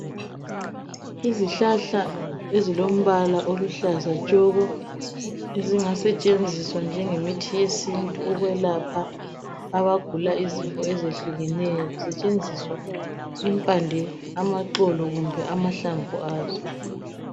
Izihlahla ezilombala oluhlaza tshoko ezingasetshenziswa njenge mithi yesintu ukwelapha abagula izifo ezehlukeneyo, zisetshenziswa impande, amaxolo kumbe amahlamvu azo.